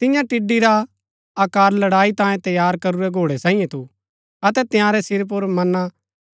तियां टिड्ड़ी रा आकार लड़ाई तांयें तैयार करूरै घोड़ै सांईये थू अतै तंयारै सिर पुर मना